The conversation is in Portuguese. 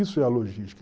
Isso é a logística.